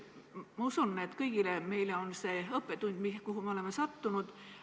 Ma usun, et kõigile meile on see, kuhu me oleme sattunud, õppetund.